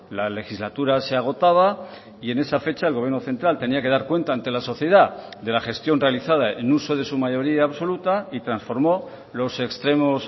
la legislatura se agotaba y en esa fecha el gobierno central tenía que dar cuenta ante la sociedad de la gestión realizada en uso de su mayoría absoluta y transformó los extremos